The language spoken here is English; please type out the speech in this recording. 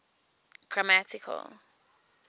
grammatical